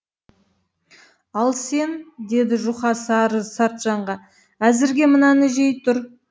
ал сен деді жұқа сары сартжанға әзірге мынаны жей тұр